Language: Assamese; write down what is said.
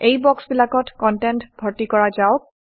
এই বক্সবিলাকত কনটেণ্ড ভৰ্তি কৰা যাওক